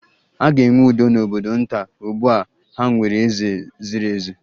A ga-enwe udo n'obodo nta, ugbu a ha nwere eze ziri ezi